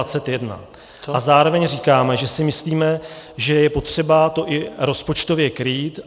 A zároveň říkáme, že si myslíme, že je potřeba to i rozpočtově krýt.